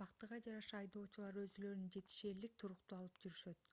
бактыга жараша айдоочулар өзүлөрүн жетишээрлик туруктуу алып жүрүшөт